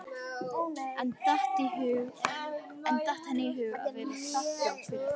En datt henni í hug að vera þakklát fyrir það?